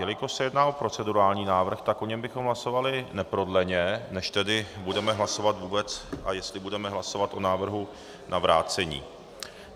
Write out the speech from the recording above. Jelikož se jedná o procedurální návrh, tak o něm bychom hlasovali neprodleně, než tedy budeme hlasovat vůbec, a jestli budeme hlasovat o návrhu na vrácení.